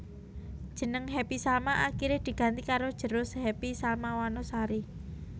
Jeneng Happy Salma akiré diganti karo Jero Happy Salma Wanasari